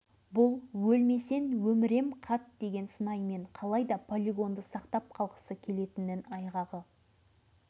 орталық тарапынан жасалып отырған мұндай көзжұмбайлық пен салғырттықтың сыры дәл осы арада әшкерелене түсетін сияқты